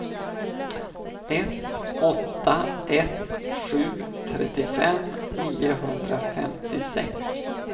ett åtta ett sju trettiofem niohundrafemtiosex